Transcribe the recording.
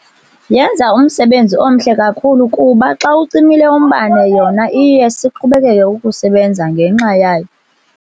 Yenza umsebenzi omhle kakhulu kuba xa ucimile umbane yona iye siqhubekeke ukusebenza ngenxa yayo.